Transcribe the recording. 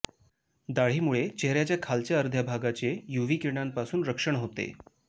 दाढीमुळे चेहऱ्याचा खालच्या अर्ध्या भागाचे यूव्ही किरणांपासून रक्षण होते